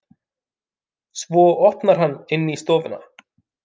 Svo opnar hann inn í stofuna.